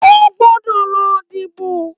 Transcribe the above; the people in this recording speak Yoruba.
Óogbòdò lò dìbó